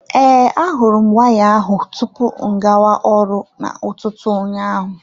Ee, ahụrụ m waya ahụ tupu mụ agawa ọrụ na ụtụtụ ụnyaahụ.